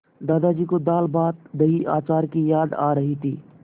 दादाजी को दालभातदहीअचार की याद आ रही थी